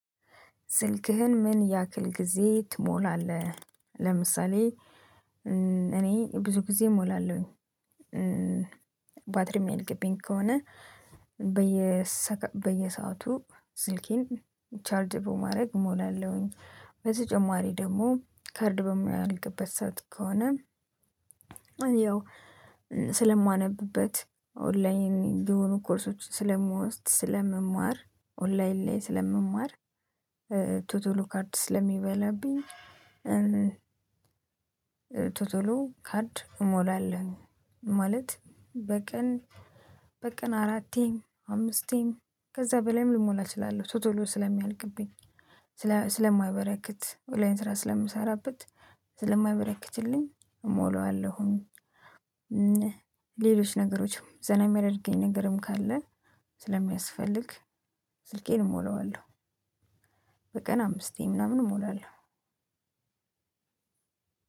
ስልክህን ምን ያክል ጊዜ ትሞላለህ? ለምሳሌ እኔ ብዙ ጊዜ እሞላለሁኝ ባትሪም ሚያልቅብኝ ከሆነ በየ በየሰአቱ ስልኬን ቻርጅ በማረግ እሞላለሁኝ። በተጨማሪ ደግሞ ካርድ በማያልቅበት ሰዓት ከሆነ። ያው ስለማነብበት ኦንላይን የሆኑ ኮርሶች ስለምወስድ ስለመማር ኦንላይን ላይ ስለመማር ቶሎ ቶሎ ካርድ ስለሚበላብኝ። ቶሎ ቶሎ ካርድ እሞላለሁኝ። ማለት በቀን በቀን አራቴ አምስቴ ከዛ በላይም ልሞላ እችላለሁ ቶሎ ቶሎ ስለሚያልቅብኝ ስለማይበረክት ኦላይን ስራ ስለምሰራበት ስለማይበረክትልኝ እሞላውአለሁኝ። ሌሎች ነገሮችም ዘና የሚያደርገኝ ነገርም ካለ ስለሚያስፈልግ ስልኬን እሞላዋለሁ። በቀን አምስቴ ምናምን እሞላለሁ።